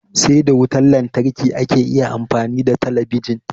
Sai da wutan lantarki ake iya amfani da talabijin